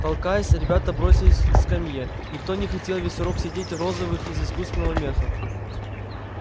толкаясь ребята бросились к скамье никто не хотел весь урок сидеть в розовых из искусственного меха